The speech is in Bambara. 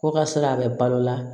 Ko ka se a bɛ balo la